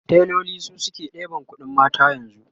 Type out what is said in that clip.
tailoli su suke ɗeban ƙuɗin mata yanzu